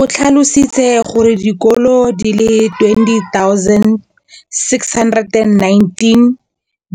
O tlhalositse gore dikolo di le 20 619